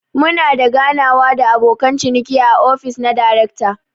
Muna da ganawa da abokan ciniki a ofis na darekta.